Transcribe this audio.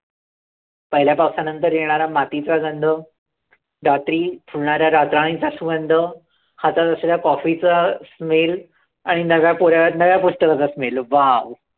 पहिल्या पावसानंतर येणाऱ्या मातीचा गंध, रात्री फुलणाऱ्या रातराणीचा सुगंध, हातात असलेल्या कॉफीचा smell आणि नव्याकोऱ्या, नव्या पुस्तकाचा smell, wow.